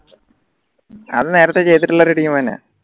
അത് നേരത്തെ ചെയ്തിട്ടുള്ള ഒരു team തന്നെയാ